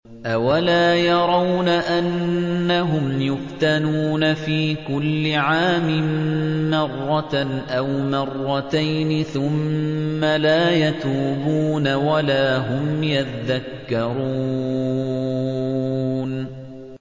أَوَلَا يَرَوْنَ أَنَّهُمْ يُفْتَنُونَ فِي كُلِّ عَامٍ مَّرَّةً أَوْ مَرَّتَيْنِ ثُمَّ لَا يَتُوبُونَ وَلَا هُمْ يَذَّكَّرُونَ